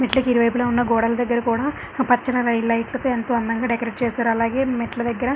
మెట్లకి ఇరువైపులా ఉన్న గోడల దగ్గర కూడా ఆ పచ్చ లైట్ల తో ఎంతో అందంగా డెకరేట్ చేసారు అలాగే మెట్ల దగ్గర--